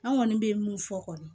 An kɔni bɛ mun fɔ kɔni